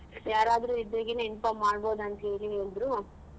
ಯಾರಾದ್ರೂ ಇದ್ರೆಗ್ inform ಮಾಡ್ಬೊಹ್ದ್ ಅಂತ ಹೇಳಿ ಹೇಳಿದ್ರು.